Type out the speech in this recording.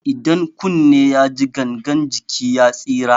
Idan kunne ya ji, gangan jiki ya tsira.